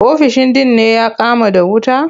Ofishin din ne ya kama da wuta.